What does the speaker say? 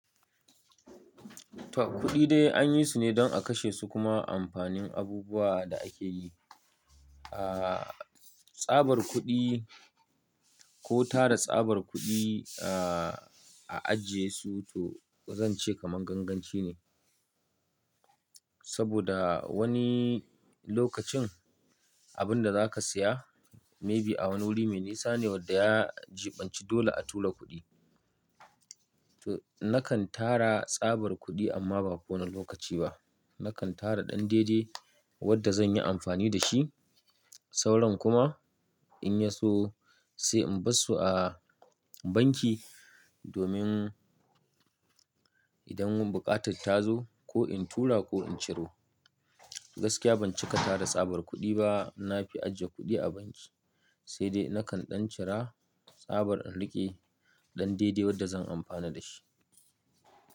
Ta kuɗi dai anyi su ne don a kashe su kuma amfanin abubuwa da ake yi. Ah, tsabar kuɗi ko tara tsabar kuɗi ah, a ajiye su to zan ce kamar ganganci ne. Saboda wani lokacin abun da za ka siya maybe a wani wuri me nisa ne wadda ya jibanci dole a tura kuɗi. To na kan tara tsabar kuɗi amma ba kowane lokaci ba. Na kan tara ɗan daide wadda zan yi amfani da shi. Sauran kuma in ya so sai in bar su a banki domin idan buƙatar ta zo ko in tura ko in ciro. Gaskiya ban cika tara tsabar kuɗi ba na fi ajiye kuɗi a banki, sai dai na kan ɗan cira tsabar in riƙe ɗan daide wadda zan amfana da shi.